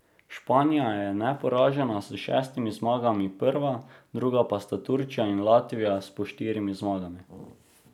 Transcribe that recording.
Španija je neporažena s šestimi zmagami prva, drugi pa sta Turčija in Latvija s po štirimi zmagami.